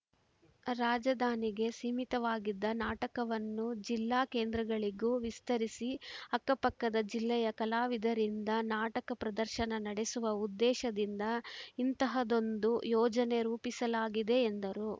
ರಾಜಧಾನಿಗೆ ಸೀಮಿತವಾಗಿದ್ದ ನಾಟಕವನ್ನು ಜಿಲ್ಲಾ ಕೇಂದ್ರಗಳಿಗೂ ವಿಸ್ತರಿಸಿ ಅಕ್ಕಪಕ್ಕದ ಜಿಲ್ಲೆಯ ಕಲಾವಿದರಿಂದ ನಾಟಕ ಪ್ರದರ್ಶನ ನಡೆಸುವ ಉದ್ದೇಶದಿಂದ ಇಂತಹದ್ದೊಂದು ಯೋಜನೆ ರೂಪಿಸಲಾಗಿದೆ ಎಂದರು